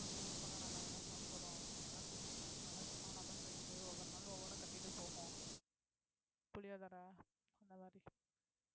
நம்ம ஊருக்கு வந்தா நல்லாதானே சாப்பிடுறோம் நீங்க என்ன சொல்றீங்க அதனால சும்மா lemon rice ஒவ்வொரு நாளும் ஒவ்வொண்ணா கட்டிட்டு போகும் புளியோதரை அந்த மாரி